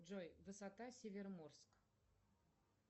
джой высота североморск